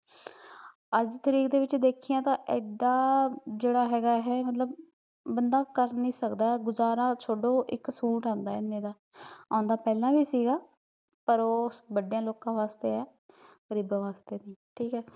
ਅੱਜ ਦੀ ਤਰੀਕ ਵਿੱਚ ਦੇਖੀਆ ਤਾਂ ਏਡਾ ਜਿਹੜਾ ਹੈਗਾ ਐ ਏਹ ਮਤਲਬ ਬੰਦਾ ਕਰ ਨੀ ਸਕਦਾ, ਗੁਜ਼ਾਰਾ ਛੱਡੋ, ਇੱਕ ਸੂਟ ਆਉਂਦਾ ਏਨੇ ਦਾ ਆਉਂਦਾ ਪਹਿਲਾਂ ਵੀ ਸੀਗਾ ਪਰ ਓਹ ਵੱਡਿਆ ਲੋਕਾਂ ਵਾਸਤੇ ਐ ਗਰੀਬਾਂ ਵਾਸਤੇ ਨੀ, ਠੀਕ ਐ